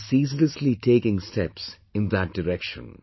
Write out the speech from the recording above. we are ceaselessly taking steps in that direction